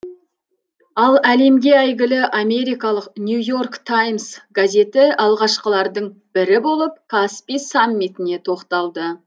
ал әлемге әйгілі америкалық нью и орк таймс газеті алғашқылардың бірі болып каспий саммитіне тоқталды